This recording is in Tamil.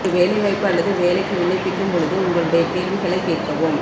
ஒரு வேலைவாய்ப்பு அல்லது வேலைக்கு விண்ணப்பிக்கும் போது உங்களுடைய கேள்விகளை கேட்கவும்